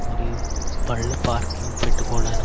మరియు బళ్ళు పార్కింగ్ పెట్టువాడా --